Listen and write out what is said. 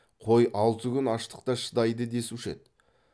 қой алты күн аштыққа шыдайды десуші еді